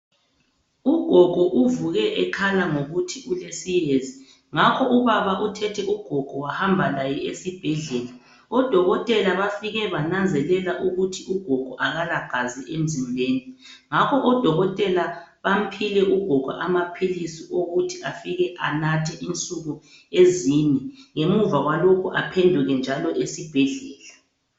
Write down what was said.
Ugogo uvuke ekhala ngokuthi ulesiyezi ngakho ubaba uthethe ugogo wahamba laye esibhedlela. Odokotela bafike bananzelela ukuthi ugogo akalagazi emzimbeni ngakho odokotela bamphile ugogo amaphilisi wokuthi afike anathe insuku ezine ngemuva kwalokhu aphenduke njalo esibhedlela.